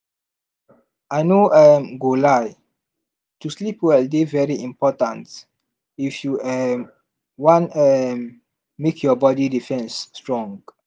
i no um go lie to sleep well dey very important if you um wan um make your body defense strong